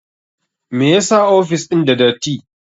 Me yasa ofis ɗin da dati?